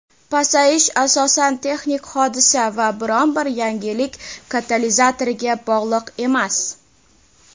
pasayish asosan texnik hodisa va biron bir yangilik katalizatoriga bog‘liq emas.